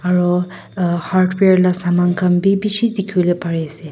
aru hardware la saman khan bi bishi dikhi wole pari ase.